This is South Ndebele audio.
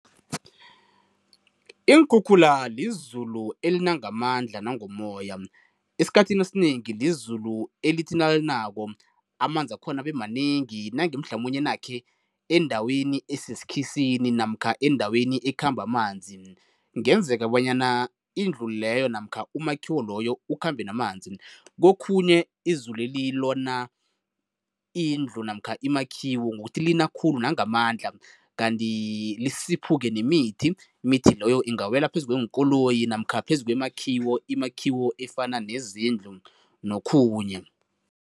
Iinkhukhula lizulu elina ngamandla nangomoya. Esikhathini esinengi lizulu elithi nalinako amanzi wakhona abe manengi, nange mhlamunye nakhe endaweni esesikhisini namkha endaweni ekhamba amanzi, kungenzeka bonyana indlu leyo namkha umakhiwo loyo ukhambe namanzi. Kokhunye izuleli lona indlu namkha imakhiwo ngokuthi lina khulu nangamandla kanti lisiphuke nemithi. Imithi loyo ingawela phezu kweenkoloyi namkha phezu kwemakhiwo, imakhiwo efana nezindlu nokhunye.